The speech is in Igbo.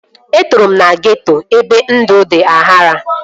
Etoro m na geeto ebe ndụ dị aghara